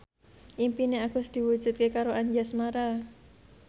impine Agus diwujudke karo Anjasmara